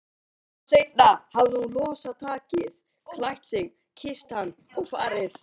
Hálftíma seinna hafði hún losað takið, klætt sig, kysst hann og farið.